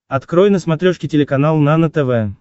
открой на смотрешке телеканал нано тв